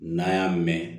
N'an y'a mɛn